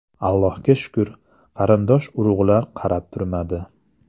Allohga shukr, qarindosh-urug‘lar qarab turmadi.